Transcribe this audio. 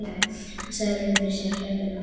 Hann sá liðin fyrir sér að hlaupa inn á völlinn.